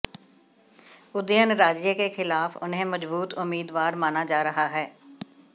उदयनराजे के खिलाफ उन्हें मजबूत उम्मीदवार माना जा रहा है